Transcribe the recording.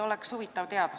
Oleks huvitav teada.